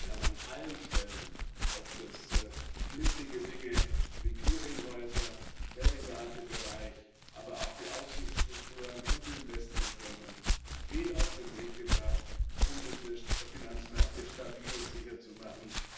Wir haben an allen Stellen, ob das knifflige Dinge wie Clearinghäuser, Derivatebereich, aber auch die Aufsichtsstrukturen und die Investmentfirmen sind, viel auf den Weg gebracht, um unsere Finanzmärkte stabil und sicher zu machen.